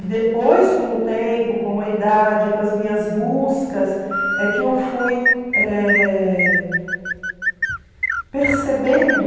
E depois, com o tempo, com a idade, com as minhas buscas, é que eu fui eh percebendo